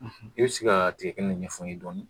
I bɛ se ka tigɛkɛnɛ ɲɛfɔ n ye dɔɔnin